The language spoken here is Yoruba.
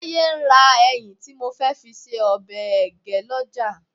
Táyé ń ra ẹyìn tí mo fẹ́ fi ṣe ọbẹ̀ ẹgẹ́ lọ́jà